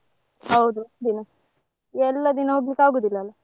ಹೌದು ದಿನ ಎಲ್ಲ ದಿನ ಹೋಗ್ಲಿಕ್ಕೆ ಆಗುದಿಲ್ಲ ಅಲ್ಲ.